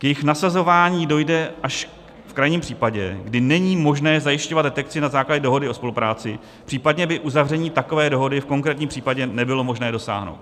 K jejich nasazování dojde až v krajním případě, kdy není možné zajišťovat detekci na základě dohody o spolupráci, případně by uzavření takové dohody v konkrétním případě nebylo možné dosáhnout.